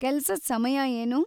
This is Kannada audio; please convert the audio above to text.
ಕೆಲ್ಸದ್ ಸಮಯ ಏನು?